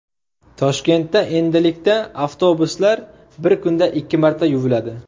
Toshkentda endilikda avtobuslar bir kunda ikki marta yuviladi.